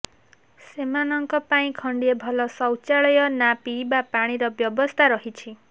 ସେମାନଙ୍କ ପାଇଁ ଖଣ୍ଡିଏ ଭଲ ଶୌଚାଳୟ ନା ପିଇବା ପାଣିର ବ୍ୟବସ୍ଥା ରହିଛି